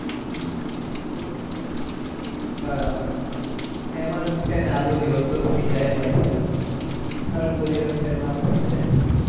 હમ બરાબર એમ જ ઉઠીએ ને અધો દિવસ તો થઇ જાય એમ જ અડધો દિવસ તો એમ જ થઇ જાય.